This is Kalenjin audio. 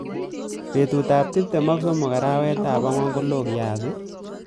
Betutab tuptem ak somok arawetab angwan kolo kasi